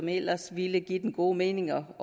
ellers ville give dem god mening